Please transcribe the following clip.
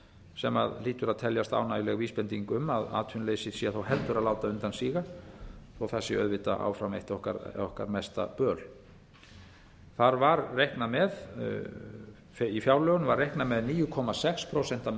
sem hlýtur að teljast ánægjuleg vísbending um að atvinnuleysið sé þá heldur að láta undan síga þótt það sé auðvitað áfram eitt okkar mesta böl í fjárlögum var reiknað með níu komma sex prósent